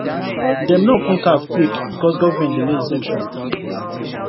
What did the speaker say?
dem no open caf quick because government delay inspection